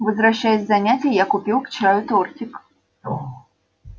возвращаясь с занятий я купил к чаю тортик